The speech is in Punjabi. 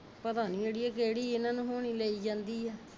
ਪਤਾ ਨਹੀ ਅੜੀਏ ਕਿਹੜੀ ਇਨ੍ਹਾਂ ਨੂੰ ਹੋਣੀ ਲਈ ਜਾਂਦੀ ਆ